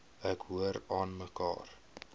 ek hoor aanmekaar